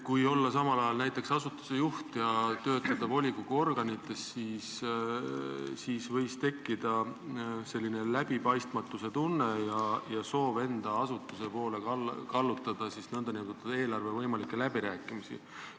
Kui olla samal ajal näiteks asutuse juht ja töötada volikogu organites, siis võib tekkida läbipaistmatuse tunne ja soov kallutada võimalikke eelarveläbirääkimisi enda asutuse poole.